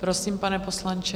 Prosím, pane poslanče.